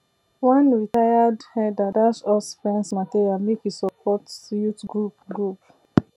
one retired herder dash us fence material make e support youth group group